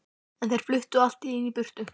En þeir fluttu allt í einu í burtu.